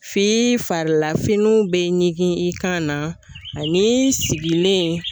F'i farila finiw bɛ ɲigin i kan na ani sigilen.